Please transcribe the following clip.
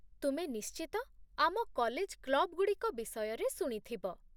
ତୁମେ ନିଶ୍ଚିତ ଆମ କଲେଜ କ୍ଲବ୍‌ଗୁଡ଼ିକ ବିଷୟରେ ଶୁଣିଥିବ